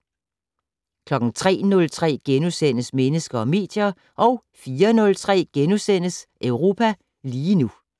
03:03: Mennesker og medier * 04:03: Europa lige nu *